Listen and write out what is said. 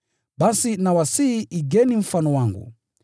Basi nawasihi igeni mfano wangu.